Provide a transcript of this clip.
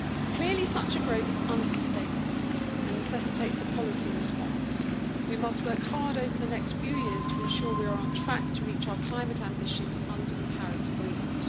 Clearly such a growth is unsustainable and necessitates a policy response. We must work hard over the next few years to ensure we are on track to reach our climate ambitions under the Paris Agreement.